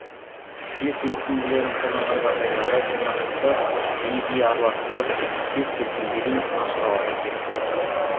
спирт ерітінділерін қолданған жағдайларда жинақты жиі жиі араластырып спирт кеткенге дейін ашық ауада кептіреді